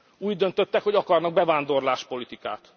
Úgy döntöttek, hogy akarnak bevándorlás politikát.